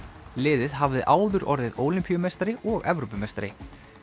liðið hafði áður orðið ólympíumeistari og Evrópumeistari